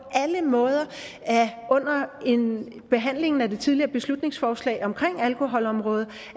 alle måder at under behandlingen af det tidligere beslutningsforslag omkring alkoholområdet